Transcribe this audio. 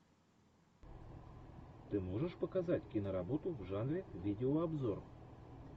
ты можешь показать киноработу в жанре видеообзор